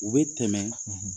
U bɛ tɛmɛ